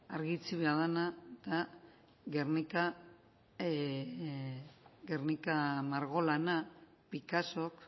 argi itxi behar dana da guernica margolana picassok